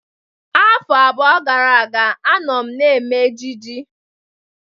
Afọ abụọ gara aga, anọ m eme ejiji